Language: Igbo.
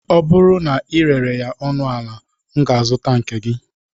Ọ bụrụ na ị rere ya ọnụ ala, m ga-azụta nke gi